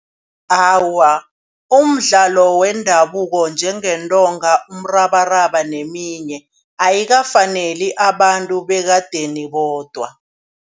Awa umdlalo wendabuko njengeentonga, umrabaraba neminye ayikafaneli abantu bekadeni bodwa.